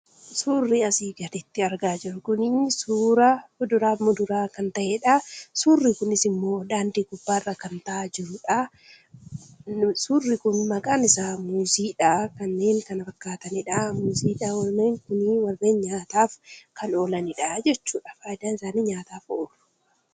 Suurri asii gaditti argaa jirru kunii, suuraa kuduraa fi muduraa kan ta'edhaa. Suurri kunis immoo daandii gubbaarra kan taa'aa jirudhaa. Suurri Kun maqaan isaa muuziidhaa , kanneen kana fakkaatanidha muuziin kunii nyaataaf kan oolanidhaa jechuudha faayidaan isaa nyaataaf oolu.